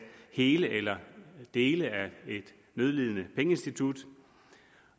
hele eller dele af et nødlidende pengeinstitut